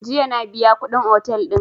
Jiya na biya kuɗin otel din